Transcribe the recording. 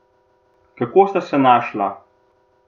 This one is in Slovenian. Kako sta se našla?